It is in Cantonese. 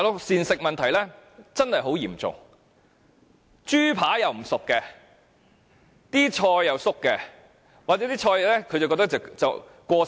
膳食問題真的十分嚴重，例如豬扒未煮熟、蔬菜有異味或過期不新鮮。